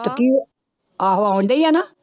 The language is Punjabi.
ਤੇ ਕੀ, ਆਹੋ ਆਉਂਦੀ ਆ ਨਾ?